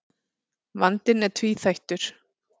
Vandinn er tvíþættur.